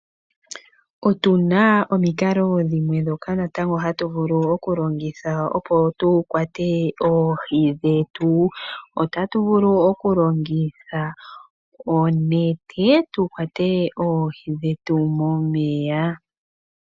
Otu na omikalo dhimwe ndhoka natango hatu vulu okulongitha opo tu kwate oohi dhetu. Otatu vulu okulongitha onete tu kwate oohi hetu momeya.